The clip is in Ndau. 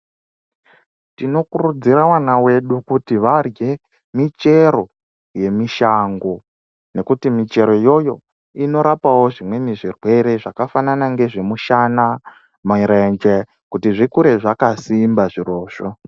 Tinokurudzira vana vedu kuti varye, michero yemishango, ngekuti michero iyoyo inorapawo zvimweni zvirwere, zvakafanana ngezvemishana, marenje, kuti zvikure zvakasimba zvirozvo.